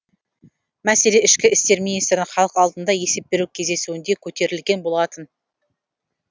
мәселе ішкі істер министрінің халық алдында есеп беру кездесуінде көтерілген болатын